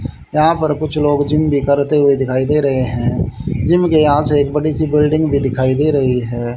यहां पर कुछ लोग जिम भी करते हुए भी दिखाई दे रहे हैं जिम के यहां से एक बिल्डिंग भी दिखाई दे रही है।